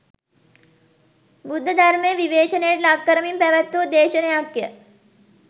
බුද්ධධර්මය විවේචනයට ලක් කරමින් පැවැත්වූ දේශනයක් ය.